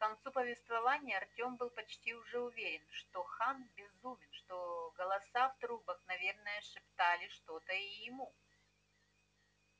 к концу повествования артём был почти уже уверен что хан безумен что голоса в трубах наверное шептали что-то и ему